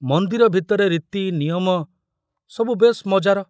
ମନ୍ଦିର ଭିତରେ ରୀତି ନିୟମ ସବୁ ବେଶ ମଜାର।